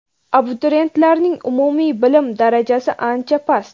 abituriyentlarning umumiy bilim darajasi ancha past.